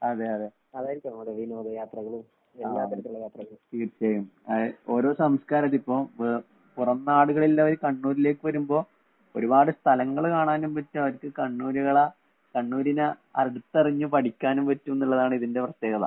അതെയതെ. ആഹ് തീർച്ചയായും. ആഹ് ഓരോ സംസ്കാരായിട്ടിപ്പോ വേ പുറം നാടിലുള്ളവര് കണ്ണൂരിലേക്ക് വരുമ്പോ ഒരുപാട് സ്ഥലങ്ങള് കാണാനും പറ്റും അവർക്ക് കണ്ണൂരികളെ കണ്ണൂരിനെ അടുത്തറിഞ്ഞ് പഠിക്കാനും പറ്റുംന്നുള്ളതാണിതിന്റെ പ്രത്യേകത.